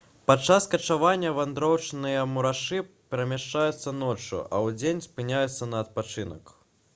падчас качавання вандроўныя мурашы перамяшчаюцца ноччу а ўдзень спыняюцца на адпачынак